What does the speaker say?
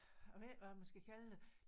Jeg ved ikke hvad man skal kalde det